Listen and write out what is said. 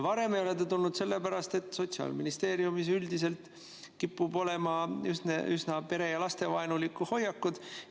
Varem ei ole see siia tulnud sellepärast, et Sotsiaalministeeriumis kipub üldiselt olema üsna pere‑ ja lastevaenulikku hoiakut.